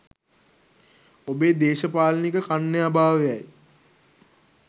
ඔබේ දේශපාලනික කන්‍යා භාවයයි.